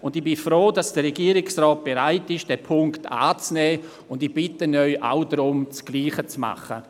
Ich bin froh, dass der Regierungsrat bereit ist, diesen Punkt anzunehmen, und ich bitte Sie, dasselbe zu tun.